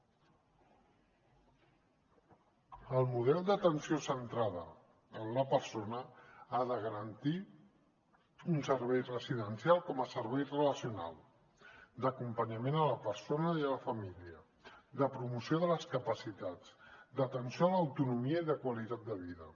el model d’atenció centrada en la persona ha de garantir un servei residencial com a servei relacional d’acompanyament a la persona i a la família de promoció de les capacitats d’atenció a l’autonomia i de qualitat de vida